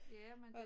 Ja men det